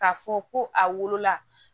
K'a fɔ ko a wolola